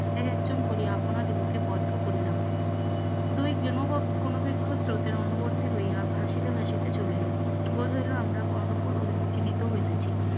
একজন করিয়া আপনারে বুকে বদ্ধ করিলাম স্রোতের অনুবর্তি হইয়া ভাসিতে ভাসিতে চলিল, আমরা অভিমুখে নীত হইতেছি